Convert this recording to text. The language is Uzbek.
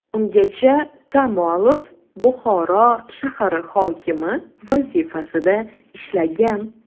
Ungacha Kamolov Buxoro shahari hokimi vazifasida ishlagan.